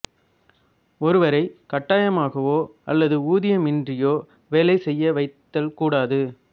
ஒருவரை கட்டாயமாகவோ அல்லது ஊதியமின்றியோ வேலை செய்ய வைத்தல் கூடாது